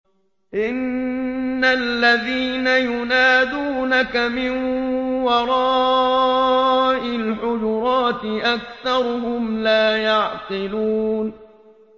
إِنَّ الَّذِينَ يُنَادُونَكَ مِن وَرَاءِ الْحُجُرَاتِ أَكْثَرُهُمْ لَا يَعْقِلُونَ